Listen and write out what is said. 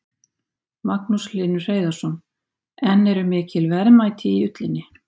Magnús Hlynur Hreiðarsson: En eru mikil verðmæti í ullinni?